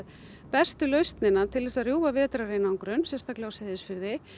bestu lausnina til þess að rjúfa vetrareinangrun sérstaklega á Seyðisfirði